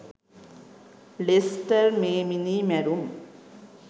ලෙස්ටර් මේ මිනී මැරුම්